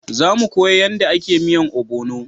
Za mu koya yanda a ke miyan obono